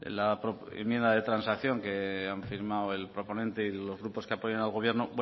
la enmienda de transacción que han firmado el proponente y los grupos que apoyan al gobierno